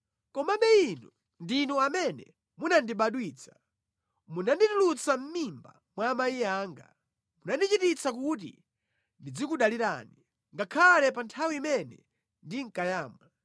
Komabe Inu ndinu amene munandibadwitsa, munanditulutsa mʼmimba mwa amayi anga. Munachititsa kuti ndizikudalirani ngakhale pa nthawi imene ndinkayamwa.